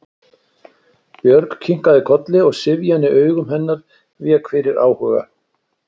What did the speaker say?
Björg kinkaði kolli og syfjan í augum hennar vék fyrir áhuga.